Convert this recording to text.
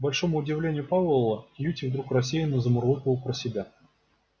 к большому удивлению пауэлла кьюти вдруг рассеянно замурлыкал про себя